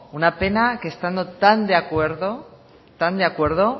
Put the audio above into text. una pena que estando tan de acuerdo tan de acuerdo